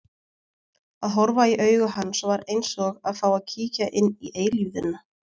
Að horfa í augu hans var eins og að fá að kíkja inn í eilífðina.